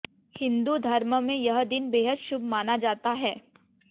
हिंदू धर्म में यह दिन बेहद शुभ माना जाता है